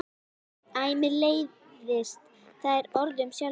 Æ mér leiðist það orð um sjálfa mig.